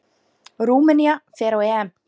Rúmenía fer á EM.